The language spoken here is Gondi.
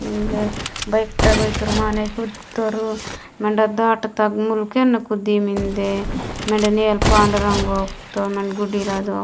मिने बईकता गोई तोर कत माने तोर मंडा डाडता मुल्केन कुड़ी मिन्दे मिडे अल्पा पाडरगव तोर मन गुड्डी रदो --